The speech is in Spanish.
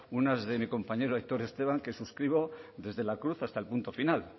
unas de mi compañero aitor esteban que suscribo desde la cruz hasta el punto final